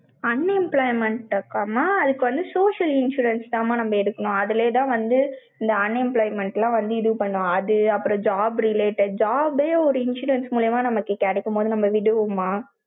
unemployment இருக்காமா, அதுக்கு வந்து social insurance தாம்மா நம்ம எடுக்கணும். அதுலேதான் வந்து, இந்த unemployment எல்லாம் வந்து இது பண்ணும். அது, அப்புறம் job related. job ஏ ஒரு insurance மூலியமா நமக்கு கிடைக்கும்போது, நம்ம விடுவோமா?